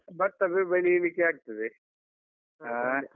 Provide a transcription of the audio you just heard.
ಭತ್ತ ಬೆಳಿಲಿಕ್ಕೆ ಆಗ್ತದೆ ಹಾ.